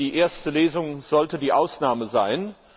Die erste Lesung sollte die Ausnahme sein.